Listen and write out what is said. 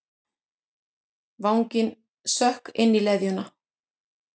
Vanginn sökk inn í leðjuna.